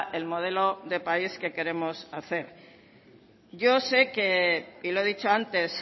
el modelo de país que queremos hacer yo sé que y lo he dicho antes